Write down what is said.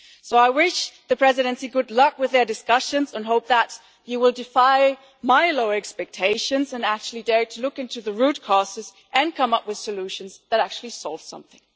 I wish the Presidency good luck with their discussions, and I hope that it will defy my low expectations and actually dare to look into the root causes and come up with solutions that actually solve something.